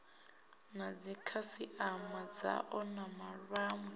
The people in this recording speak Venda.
na dzikhasiama dzao na vhawe